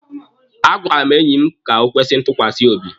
A gwara m enyi m ka o kwesi ntukwasi obi.